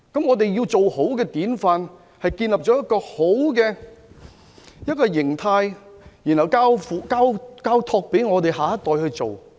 我們要豎立好的典範，就需要建立良好的形態，再交託給下一代去做。